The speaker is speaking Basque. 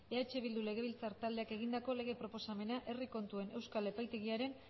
eh bildu legebiltzar taldeak egindako lege proposamena herri kontuen euskal epaitegiaren